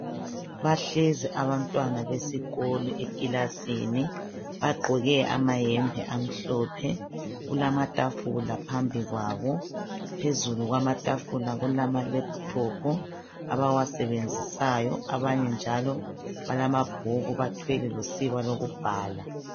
Bahlezi abantwana besikolo ekilasini bagqoke amahembe amhlophe. Kulamatafula phambi kwabo. Phezulu kwamatafula kulama laptop abawasebenzisayo abanye njalo balamabhuku bathwele losiba lokubhala.